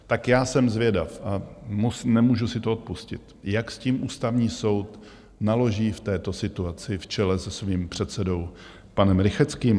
Tak já jsem zvědav, a nemůžu si to odpustit, jak s tím Ústavní soud naloží v této situaci v čele se svým předsedou panem Rychetským.